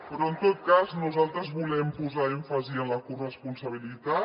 però en tot cas nosaltres volem posar èmfasi en la corresponsabilitat